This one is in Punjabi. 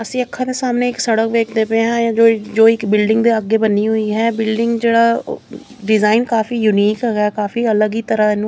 ਅਸੀਂ ਅੱਖਾਂ ਦੇ ਸਾਹਮਣੇ ਇੱਕ ਸੜਕ ਵੇਖਦੇ ਪਏ ਆ ਜੋ ਇੱਕ ਬਿਲਡਿੰਗ ਦੇ ਅੱਗੇ ਬਣੀ ਹੋਈ ਹੈ ਬਿਲਡਿੰਗ ਜਿਹੜਾ ਡਿਜ਼ਾਇਨ ਕਾਫੀ ਯੂਨੀਕ ਸਾ ਹੈਗਾ ਕਾਫੀ ਅਲੱਗ ਤਰ੍ਹਾਂ ਨੂੰ --